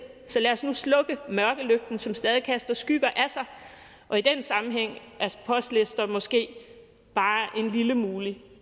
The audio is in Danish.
så lad os nu slukke mørkelygten som stadig kaster skygger af sig og i den sammenhæng er postlister måske bare en lille mulig